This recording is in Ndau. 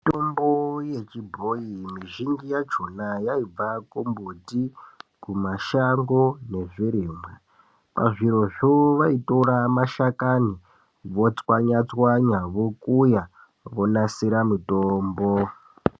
Mitombo yechibhoyi mizhinji yakhona yaibva kumumbuti, mashango nezvirimwa. Pazvirozvo vaitora mashakani votswanya tswanya, vokuyaa vonasira mutombo.